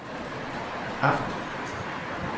aften